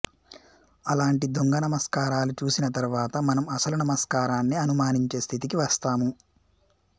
అలాంటి దొంగ నమస్కారాలు చూసిన తరువాత మనం అసలు నమస్కారాన్నే అనుమానించే స్థితికి వస్తాము